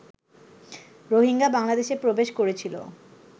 রোহিঙ্গা বাংলাদেশে প্রবেশ করেছিল